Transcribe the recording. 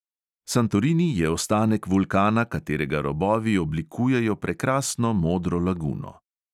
Santorini je ostanek vulkana, katerega robovi oblikujejo prekrasno modro laguno.